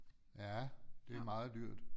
Ja det er meget dyrt